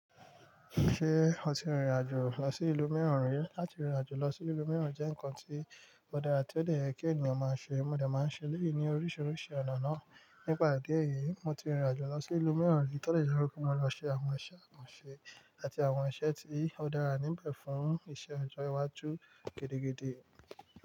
Ṣé o ti rìnrìn àjò lọ sí ìlú mìíràn rí? Lati rìnrìn àjò lọ sí ìlú mìíràn jẹ́ nkan tí ó dára tí ó lè yẹ kí ènìyàn máa ṣe. Mo dà máa ń ṣe léyìí ní oríṣiríṣi ọ̀nà náà. Nípa ìdí èyí, mo ti rìnrìn àjò lọ sí ìlú mìíràn rí tó lè jọ̀rọ̀ pé mo lọ ṣe àwọn iṣẹ́ àkànṣe láti àwọn iṣẹ́ tí ó dára níbẹ̀ fún iṣẹ́ ọjọ́ iwájú gidigidi.